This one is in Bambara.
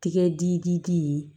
Tigɛ di di ye